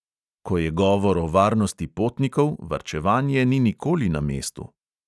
Ko je govor o varnosti potnikov, varčevanje ni nikoli na mestu.